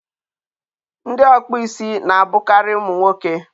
ndị ọkpụ isi na-abụkarị ụmụ nwoke.